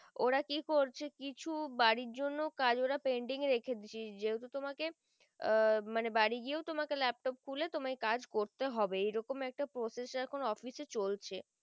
ওরা কি করছে কিছু বাড়ির জন্যে কলেজ ওরা pending রেখে দিচ্ছে যেহুতু তোমাকে আহ মানে বাড়ি গিয়েও তোমাকে laptop খুল তোমায় কাজ করতে হবে এরকম একটা process এখুন office চলছে